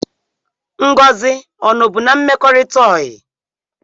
Ngozi ọ nọ bụ n'mmekorita oyi?